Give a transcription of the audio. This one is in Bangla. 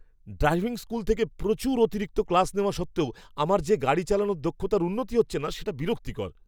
ড্রাইভিং স্কুল থেকে প্রচুর অতিরিক্ত ক্লাস নেওয়া সত্ত্বেও আমার যে গাড়ি চালানোর দক্ষতার উন্নতি হচ্ছে না সেটা বিরক্তিকর।